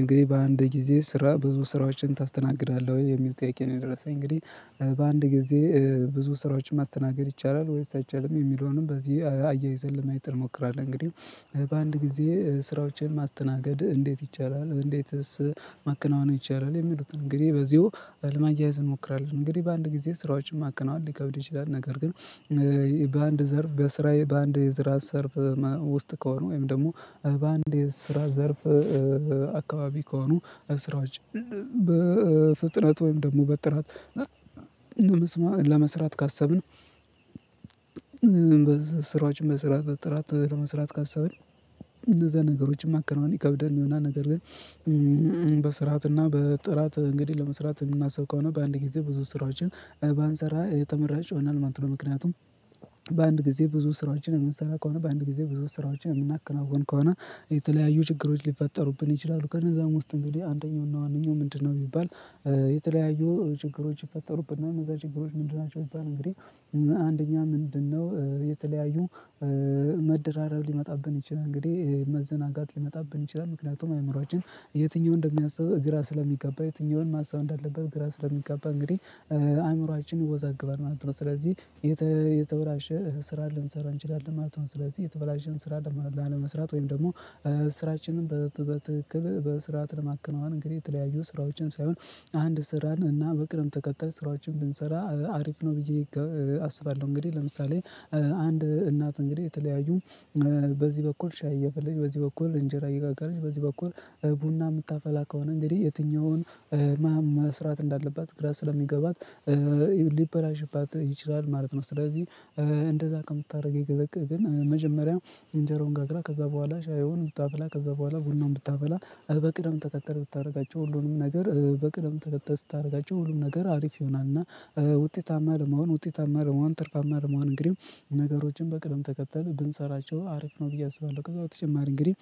እንግዲህ በአንድ ጊዜ ስራ ብዙ ስራዎችን ታስተናግዳለህ? ወይ የሚል ጥያቄ ነው የደረሰኝ እንግዲህ በአንድ ጊዜ ብዙ ስራዎችን ማስተናገድ ይቻላል ወይስ አይቻልም? የሚለውንም በዚህ አያይዘን ለማየት እሞክራለሁ እንግዲህ በአንድ ጊዜ ስራዎችን ማስተናገድ እንዴት ይቻላል? እንዴትስ ማከናወን ይቻላል? የሚሉትን እንግዲህ በዚሁ ለማያያዝ እንሞክራለን እንግዲህ በአንድ ጊዜ ስራዎችን ማከናወን ሊከብድ ይችላል። ነገር ግን በአንድ ዘርፍ በስራዬ በአንድ የስራ ዘርፍ ውስጥ ከሆኑ ወይም ደግሞ በአንድ የስራ ዘርፍ አካባቢ ከሆኑ ስራዎች በፍጥነት ወይም ደግሞ በጥራት ለመስራት ካሰብን ስራዎችን መስራት በጥራት መስራት ካሰብን እነዛ ነገሮችን ማከናወን ይከብደንና ነገር ግን በስርዓትና በጥራት እንግዲህ ለመስራት የምናስብ ከሆነ በአንድ ጊዜ ብዙ ስራዎችን ባንሰራ የተመራጭ ይሆነናል ማለት ነው። ምክንያቱም በአንድ ጊዜ ብዙ ስራዎችን የምንሰራ ከሆነ፤ በአንድ ጊዜ ብዙ ስራዎችን የምናከናውን ከሆነ የተለያዩ ችግሮች ሊፈጠሩብን ይችላሉ። ከነዛም ውስጥ እንግዲህ አንደኛውና ዋነኛው ምንድነው ቢባል የተለያዩ ችግሮች ይፈጠሩብናል እነዛ ችግሮች ምንድናቸው ቢባል እንግዲህ አንደኛ ምንድነው የተለያዩ መደራረብ ሊመጣብን ይችላል እንግዲህ መዘናጋት ሊመጣብን ይችላል ምክንያቱም አእምሮአችን የትኛውን እንደሚያስብ ግራ ስለሚጋባ የትኛውን ማሰብ እንዳለበት ግራ ስለሚጋባ እንግዲህ አእምሮአችን ይወዛገባል ማለት ነው። ስለዚህ የተበላሸ ስራ ልንሰራ እንችላለን ማለት ነው። ስለዚህ የተበላሽን ስራ ላለመስራት ወይም ደግሞ ስራችንን በትክክል በስርዓት ለማከናወን እንግዲህ የተለያዩ ስራዎችን ሳይሆን አንድ ስራን እና በቅደም ተከተል ስራዎችን ብንሰራ አሪፍ ነው ብዬ አስባለሁ እንግዲህ ለምሳሌ አንድ እናት እንግዲህ የተለያዩ በዚህ በኩል ሻይ እያፈለላች፥ በዚህ በኩል እንጀራ እየጋገረች፥ በዚህ በኩል ቡና የምታፈላ ከሆነ እንግዲህ የትኛውን መስራት እንዳለባት ግራ ስለሚገባት ሊበላሽባት ይችላል ማለት ነው። ስለዚህ እንደዛ ከምታደርግ ይልቅ መጀመሪያ ኢንጀራዋን ጋግራ ከዛ በኋላ ሻዩን ብታፈላ ከዛ በኋላ ቡናውን ብታፈላ በቅድም ተከተል ብታደርጋቸው ሁሉንም ነገር በቅደም ተከተል ስታደርጋቸው ሁሉም ነገር አሪፍ ይሆናል እና ውጤታማ ለመሆን ፥ውጤታማ ለመሆን፥ ትርፋማ ለመሆን እንግዲህ ነገሮችን በቅደም ተከተል ብንሰራቸው አሪፍ ነው ብዬ አስባለሁ። ከዛ በተጨማሪ እንግዲህ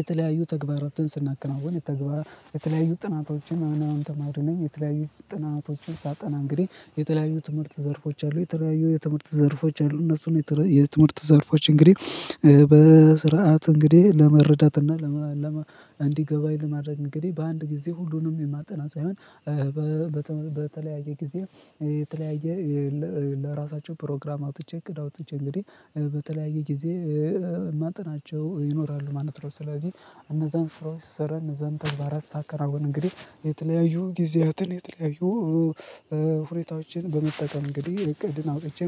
የተለያዩ ተግባራትን ስናከናውን የተግባር የተለያዩ ጥናቶችን ማነው የተለያዩ ጥናቶችን ሳጠና እንግዲህ የተለያዩ የትምህርት ዘርፎች አሉ የተለያዩ የትምህርት ዘርፎች አሉ እነሱን የትምህርት ዘርፎች እንግዲህ በስርዓት እንግዲህ ለመረዳት እና እንዲገባኝ ለማድረግ እንግዲህ በአንድ ጊዜ ሁሉንም የማጠና ሳይሆን በተለያየ ጊዜ የተለያየ ለራሳቸው ፕሮግራም አውጥቼ፥ እቅድ አውጥቼ እንግዲህ በተለያየ ጊዜ ማጠናቸው ይኖራሉ ማለት ነው። ስለዚህ እነዛን ፍሮስ ሰረን እነዛን ተግባራት ሳከናውን እንግዲህ የተለያዩ ጊዜያትን የተለያዩ ሁኔታዎችን በመጠቀም እንግዲህ እቅድን አውጥቼ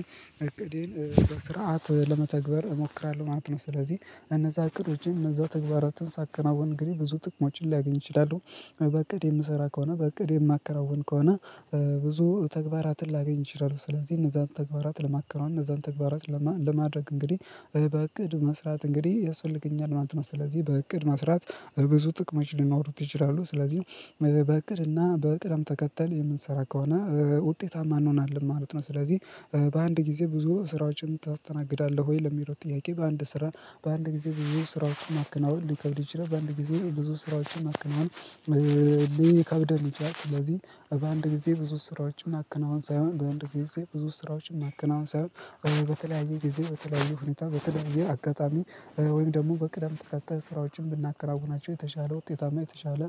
እቅዴን በስርዓት ለመተግበር እሞክራለሁ ማለት ነው። ስለዚህ እነዛ እቅዶቼ እነዛ ተግባራትን ሳከናወን እንግዲህ ብዙ ጥቅሞችን ላገኝ እችላሉ በእቅድ የምሰራ ከሆነ በእቅዴ የማከናውን ከሆነ ብዙ ተግባራትን ላገኝ ይችላሉ። ስለዚህ እነዛን ተግባራት ለማከናወን፥ እነዛን ተግባራት ለማድረግ እንግዲህ በእቅድ መስራት እንግዲህ ያስፈልገኛል ማለት ነው። ስለዚህ በእቅድ መስራት ብዙ ጥቅሞች ሊኖሩት ይችላሉ። ስለዚህ በእቅድና በቅደም ተከተል የምንሰራ ከሆነ ውጤታማ እንሆናለን ማለት ነው። ስለዚህ በአንድ ጊዜ ብዙ ስራዎችን ታስተናግዳለህ ወይ? ለሚለው ጥያቄ በአንድ ስራ በአንድ ጊዜ ብዙ ስራዎችን ማከናወን ሊከብድ ይችላል በአንድ ጊዜ ብዙ ስራዎችን ማከናወን ይቻላል። ስለዚህ በአንድ ጊዜ ብዙ ስራዎችን ማከናወን ሳይሆን በአንድ ጊዜ ብዙ ስራዎችን ማከናውን ሳይሆን በተለያየ ጊዜ በተለያየ ሁኔታ በተለያዩ አጋጣሚ ወይም ደግሞ በቅደም ተከተል ስራዎችን ብናከናውናቸው የተሻለ ውጤታማ የተሻለ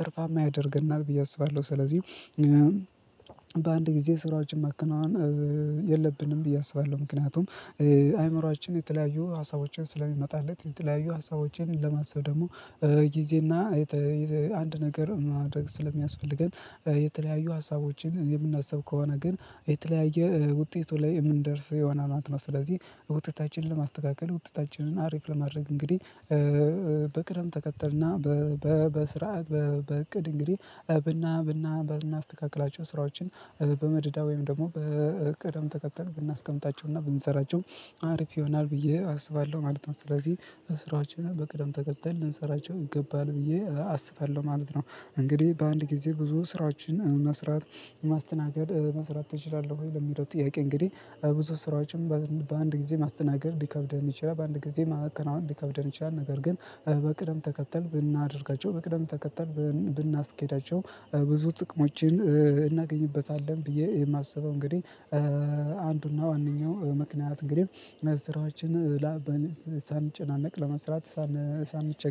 ትርፋማ ያደርገናል ብዬ አስባለሁ። ስለዚህ በአንድ ጊዜ ስራውችን ማከናወን የለብንም ብዬ አስባለሁ። ምክንያቱም አይምሮአችን የተለያዩ ሀሳቦችን ስለሚመጣለት የተለያዩ ሀሳቦችን ለማሰብ ደግሞ ጊዜና አንድ ነገር ማድረግ ስለሚያስፈልገን የተለያዩ ሀሳቦችን የምናስብ ከሆነ ግን የተለያየ ውጤቱ ላይ የምንደርስ ይሆናል ማለት ነው። ስለዚህ ውጤታችንን ለማስተካከል ውጤታችንን አሪፍ ለማድረግ እንግዲህ በቅደም ተከተል፥ በስርዓት፥ በእቅድ እንግዲህ ብና ብና ብናስተካክላቸው ስራዎችን በመደዳ ወይም ደግሞ በቅደም ተከተል ብናስቀምጣቸውና ብንሰራቸው አሪፍ ይሆናል ብዬ አስባለሁ ማለት ነው። ስለዚህ ስራዎችን በቅደም ተከተል ልንሰራቸው ይገባል ብዬ አስባለሁ ማለት ነው። እንግዲህ በአንድ ጊዜ ብዙ ስራዎችን መስራት ማስተናገድ መስራት ትችላለህ ወይ? ለሚለው ጥያቄ እንግዲህ ብዙ ስራዎችን በአንድ ጊዜ ማስተናገድ ሊከብደን ይችላል፤ በአንድ ጊዜ ማከናወን ሊከብደን ይችላል። ነገር ግን በቅደም ተከተል ብናደርጋቸው በቅደም ተከተል ብናስኬዳቸው ብዙ ጥቅሞችን እናገኝበታለን ብዬ የማስበው። እንግዲህ አንዱና ዋነኛው ምክንያት እንግዲህ ስራዎችን ሳንጨናነቅ ለመስራት ሳንቸገር